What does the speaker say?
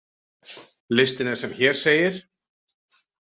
Listinn er sem hér segir: